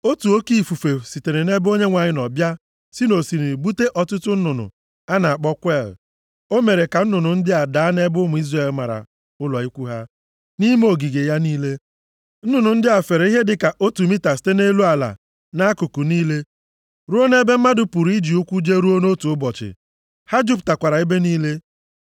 Otu oke ifufe sitere nʼebe Onyenwe anyị nọ bịa si nʼosimiri bute ọtụtụ nnụnụ a na-akpọ kweel. O mere ka nnụnụ ndị a daa nʼebe ụmụ Izrel mara ụlọ ikwu ha, nʼime ogige ya niile. Nnụnụ ndị a fere ihe dịka otu mita site nʼelu ala, nʼakụkụ niile, ruo nʼebe mmadụ pụrụ iji ụkwụ jeruo nʼotu ụbọchị. Ha jupụtakwara ebe niile.